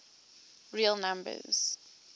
real numbers